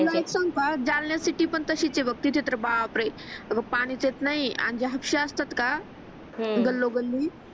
तुला एक सांगू का जालना सिटीपन तसीच आहे तिथ तर बापरे पाणीच येत नाही गल्लो गल्ली